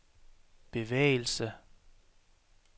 bevægelse